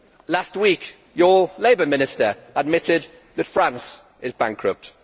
Last week your Labour Minister admitted that France is bankrupt.